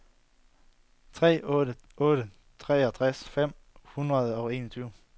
tre otte tre otte treogtres fem hundrede og enogtyve